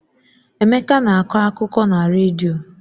Emeka na-akọ akụkọ na redio.